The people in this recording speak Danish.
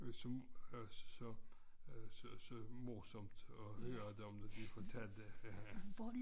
Som så øh så morsomt at høre at de fortalte